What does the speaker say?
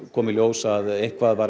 kom í ljós að eitthvað var